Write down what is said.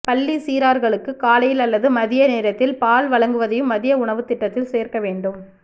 பள்ளிச் சிறாா்களுக்கு காலையில் அல்லது மதிய நேரத்தில் பால் வழங்குவதையும் மதிய உணவுத் திட்டத்தில் சோ்க்க வேண்டும்